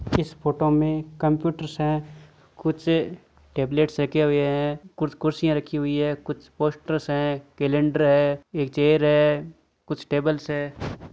इस फोटो में कम्प्यूटर्स है कुछ टेबलेट्स रखे हुये है कुछ कुर्सिया रखी हुई है कुछ पोस्टर है केलेंडर है एक चेयर है कुछ टेबल्स है।